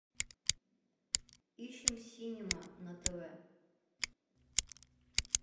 ищем синема на тв